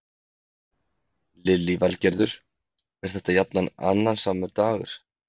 Lillý Valgerður: Er þetta jafnan annasamur dagur?